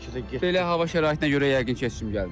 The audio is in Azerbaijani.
Belə hava şəraitinə görə yəqin ki, heç kim gəlmir.